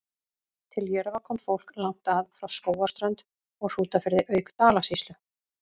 Til Jörfa kom fólk langt að, frá Skógarströnd og Hrútafirði auk Dalasýslu.